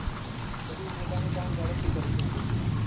અને પોતાનું કામ જડપથી કરી સકે છે